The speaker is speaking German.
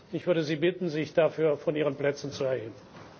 Ich würde Sie bitten, sich dafür von Ihren Plätzen zu erheben!